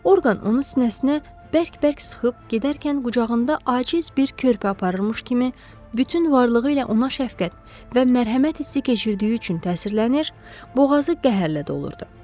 Orqan onun sinəsinə bərk-bərk sıxıb gedərkən qucağında aciz bir körpə aparırmış kimi bütün varlığı ilə ona şəfqət və mərhəmət hissi keçirdiyi üçün təsirlənir, boğazı qəhərlə dolurdu.